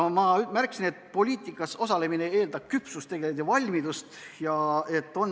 Ma märkisin, et poliitikas osalemine eeldab küpsust ja valmidust.